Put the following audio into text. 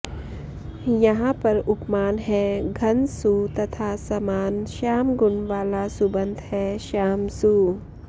यहाँ पर उपमान है घन सु तथा समान श्याम गुण वाला सुबन्त है श्याम सु